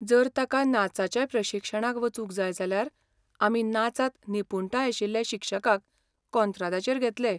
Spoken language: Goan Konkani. जर ताका नाचाच्या प्रशिक्षणाक वचूंक जाय जाल्यार आमी नाचांत निपूणटाय आशिल्ले शिक्षकाक कोंत्रादाचेर घेतले.